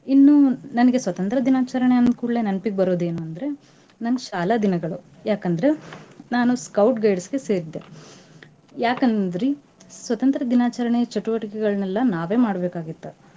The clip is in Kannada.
ಇನ್ನು ನನಗೆ ಸ್ವತಂತ್ರ್ಯ ದಿನಾಚರಣೆ ಅಂದ್ಕೂಡ್ಲೇ ನೆನಪಿಗ್ ಬರೋದ ಏನುಂದ್ರೆ ನಮ್ ಶಾಲಾ ದಿನಗಳು. ಯಾಕಂದ್ರ ನಾನು Scout Guides ಗೆ ಸೇರಿದ್ದೆ. ಯಾಕಂದ್ರೀ ಸ್ವತಂತ್ರ್ಯ ದಿನಾಚರಣೆ ಚಟುವಟಿಕೆ ಗಳ್ನೆಲ್ಲಾ ನಾವೇ ಮಾಡ್ಬೇಕಾಗಿತ್ತ.